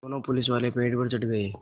दोनों पुलिसवाले पेड़ पर चढ़ गए